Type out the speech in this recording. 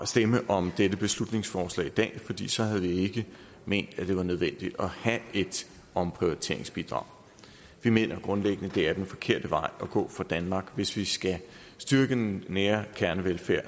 stemme om dette beslutningsforslag i dag fordi så havde vi ikke ment at det var nødvendigt at have et omprioriteringsbidrag vi mener grundlæggende at det er den forkerte vej at gå for danmark hvis vi skal styrke den nære kernevelfærd